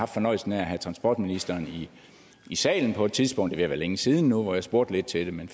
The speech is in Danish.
fornøjelsen af at have transportministeren i salen på et tidspunkt ved at være længe siden nu hvor jeg spurgte lidt til det men